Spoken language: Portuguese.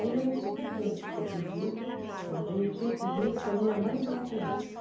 Aí isso foi feito, foi pedido, mas aí eu tinha que vir se a minha mãe viesse junto.